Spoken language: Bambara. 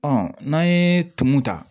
Ɔ n'an ye tumu ta